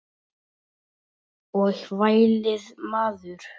Og vælið maður.